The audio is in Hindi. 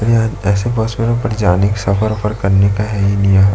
यह ऐसे बस में यहाँ पर जाने का सफर वफर करने का है ही नहीं यहाँ--